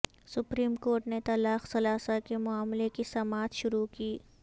supreme court نے طلاق ثلاثہ کے معاملہ کی سماعت شروع کی